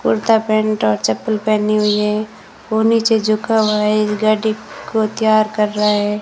Kurta pant और चप्पल पहनी हुई है वो नीचे झुका हुआ है गाड़ी को तैयार कर रहा है।